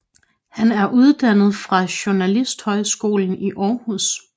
Han er uddannet fra Journalisthøjskolen i Aarhus